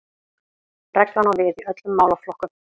Reglan á við í öllum málaflokkum